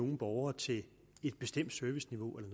nogen borgere til et bestemt serviceniveau eller